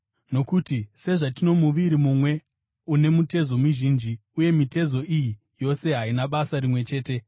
Nokuti sezvatino muviri mumwe une mitezo mizhinji, uye mitezo iyi yose haina basa rimwe chete,